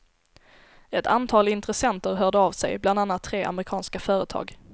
Ett antal intressenter hörde av sig, bland annat tre amerikanska företag.